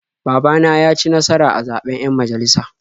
Baba na ya ci nasara a zaɓen 'yan majalisa.